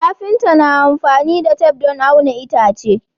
Kafinta na amfani da tef don auna itace